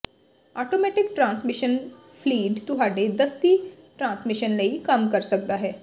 automatic transmission fluid ਤੁਹਾਡੇ ਦਸਤੀ transmission ਲਈ ਕੰਮ ਕਰ ਸਕਦਾ ਹੈ